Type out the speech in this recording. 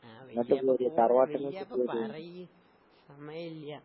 ആഹ് വല്ല്യാപ്പ വല്ല്യാപ്പ പറയ് സമയീല്ല്യ.